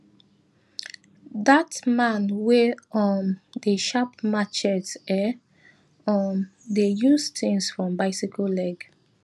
that man wey um dey sharp machete um dey use things from bicyle leg